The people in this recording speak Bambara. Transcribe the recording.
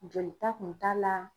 Jolita kun t'a la.